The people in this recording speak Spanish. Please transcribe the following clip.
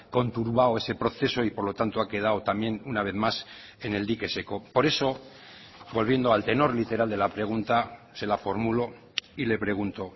conturbado ese proceso y por lo tanto ha quedado también una vez más en el dique seco por eso volviendo al tenor literal de la pregunta se la formulo y le pregunto